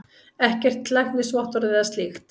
Ekkert læknisvottorð eða slíkt.